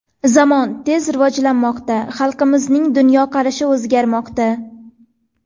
Zamon tez rivojlanmoqda, xalqimizning dunyoqarashi o‘zgarmoqda.